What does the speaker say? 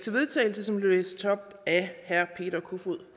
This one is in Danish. vedtagelse som blev læst op af herre peter kofod